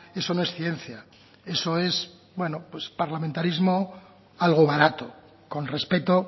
eso no es ciencia eso es bueno parlamentarismo algo barato con respeto